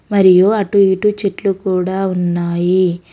మరియు అటు ఇటు చెట్లు కూడా ఉన్నాయి.